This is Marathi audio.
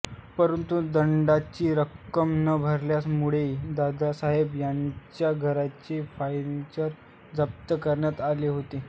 परंतु दंडाची रक्कम न भरल्या मुळे दादासाहेब यांच्या घरचे फर्निचर जप्त करण्यात आले होते